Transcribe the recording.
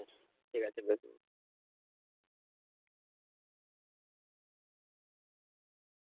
ঠিক কাছে।